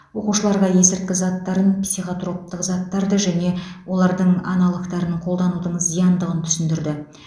оқушыларға есірткі заттарын психотроптық заттарды және олардың аналогтарын қолданудың зияндығын түсіндірді